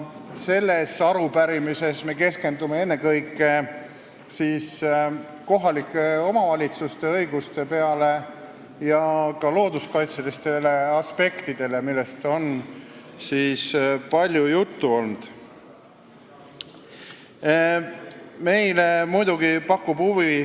Selles arupärimises me keskendume ennekõike kohalike omavalitsuste õigustele ja ka looduskaitselistele aspektidele, millest on palju juttu olnud.